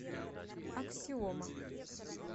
аксиома